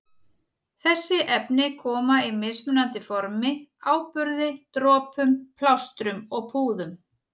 Þessi efni koma í mismunandi formi- áburði, dropum, plástrum og púðum.